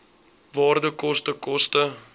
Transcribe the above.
waarde koste koste